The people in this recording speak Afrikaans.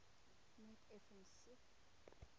net effens siek